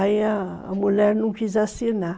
Aí a mulher não quis assinar.